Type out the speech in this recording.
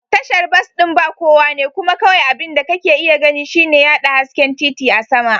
Tashar bas ɗin ba kowa ne kuma kawai abin da kake iya gani shine yaɗa hasken titi a sama.